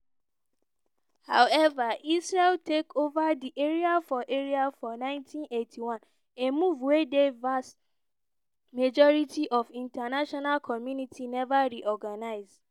however israel take ova di area for area for 1981 a move wey di vast majority of international community neva reorganize.